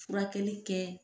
Furakɛli kɛ